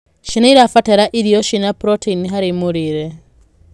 Ciana irabatara irio ciĩna proteini harĩ mũrĩre